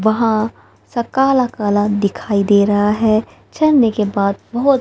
वहां सब काला काला दिखाई दे रहा है झरने के बाद बहुत--